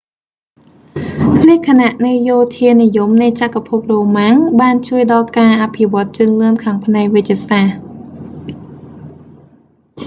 លក្ខណៈនៃយោធានិយមនៃចក្រភពរ៉ូម៉ាំង បានជួយដល់ការអភិវឌ្ឍជឿនលឿនខាងផ្នែកវេជ្ជសាស្ត្រ